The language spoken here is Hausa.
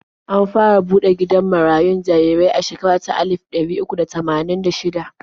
An fara buɗe gidan marayun jarirai a shekara ta alif ɗari uku da tamanin da shida.